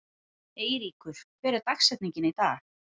Eyríkur, hver er dagsetningin í dag?